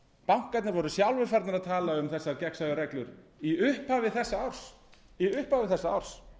bankarnir voru sjálfir farnir að tala um þessar gegnsæju reglur í upphafi þessa árs